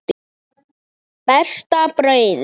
Besta brauðið